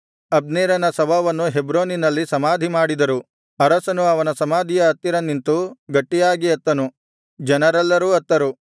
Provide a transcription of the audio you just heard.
ಅಬ್ನೇರನ ಶವವನ್ನು ಹೆಬ್ರೋನಿನಲ್ಲಿ ಸಮಾಧಿಮಾಡಿದರು ಅರಸನು ಅವನ ಸಮಾಧಿಯ ಹತ್ತಿರ ನಿಂತು ಗಟ್ಟಿಯಾಗಿ ಅತ್ತನು ಜನರೆಲ್ಲರೂ ಅತ್ತರು